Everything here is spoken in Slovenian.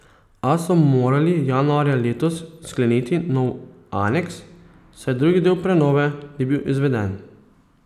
A so morali januarja letos skleniti nov aneks, saj drugi del prenove ni bil izveden.